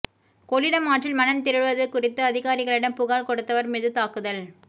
கொள்ளிடம் ஆற்றில் மணல் திருடுவது குறித்து அதிகாரிகளிடம் புகார் கொடுத்தவர் மீது தாக்குதல்